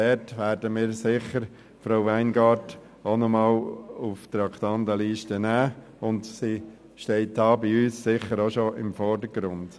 Wir werden dann sicher Frau Weingart-Schneider nochmals auf die Traktandenliste aufnehmen, und sie steht bei uns auch schon im Vordergrund.